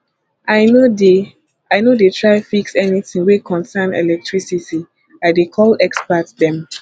i no dey i no dey try fix anytin wey concern electricity i dey call expert dem